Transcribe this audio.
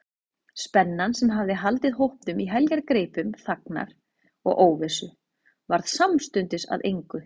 Spennan, sem hafði haldið hópnum í heljargreipum þagnar og óvissu, varð samstundis að engu.